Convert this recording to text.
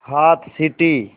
हाथ सीटी